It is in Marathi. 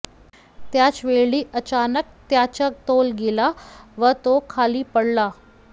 त्याचवेळी अचानक त्याचा तोल गेला व तो खाली पडला